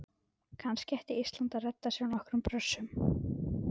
Kannski ætti Ísland að redda sér nokkrum Brössum?